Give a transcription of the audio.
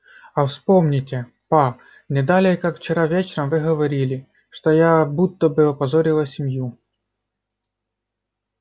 а вспомните па не далее как вчера вечером вы говорили что я будто бы опозорила семью